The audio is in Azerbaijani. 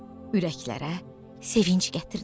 Ürəklərə sevinc gətirdilər.